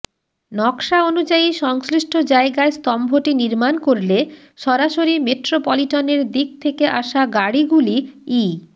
নকশা অনুযায়ী সংশ্লিষ্ট জায়গায় স্তম্ভটি নির্মাণ করলে সরাসরি মেট্রোপলিটনের দিক থেকে আসা গাড়িগুলি ই